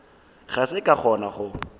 ga ke sa kgona go